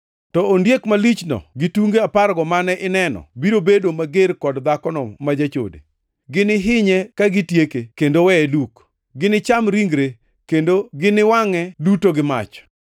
Ondiek malich mane inenono, yande nitie, to tinde oonge kendo obiro wuok oa e bur matut maonge gikone ka odhiyo e kar kethruokne. Ji duto modak e piny, ma nyingegi ok ondiki e kitap ngima nyaka aa chakruok mar piny nowuor ka gineno ondiek malichno, nikech yande entie to tinde oonge, to nochak oduogi kendo.